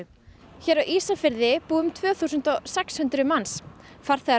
hér á Ísafirði búa um tvö þúsund og sex hundruð manns farþegar